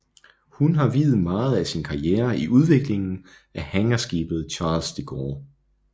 Han har viet meget af sin karriere i udviklingen af hangarskibet Charles De Gaulle